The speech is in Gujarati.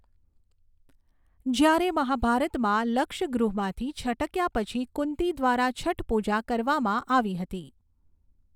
જ્યારે મહાભારતમાં, લક્ષગૃહમાંથી છટક્યા પછી કુંતી દ્વારા છઠ પૂજા કરવામાં આવી હતી.